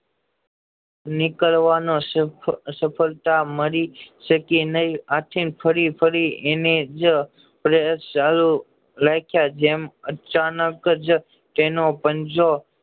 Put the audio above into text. નીકાળવામાં સફળતા મળી છે કે નય આથી ફરી ફરી એનેજ પ્રયાસ ચાલુ રાખ્યા જેમ અચાનક જ તેનો પંજો